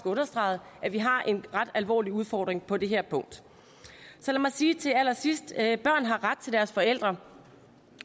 understreget at vi har en ret alvorlig udfordring på det her punkt så lad mig sige til allersidst at børn har ret til deres forældre